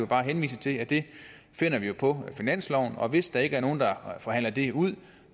bare henvise til at det finder vi på finansloven og hvis der ikke er nogen der forhandler det ud